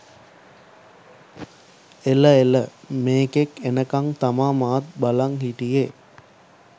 එළ එළ මෙකෙක් එනකම් තමා මමත් බලන් හිටියෙ.